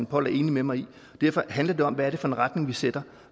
poll er enig med mig i derfor handler det om hvad det er for en retning vi sætter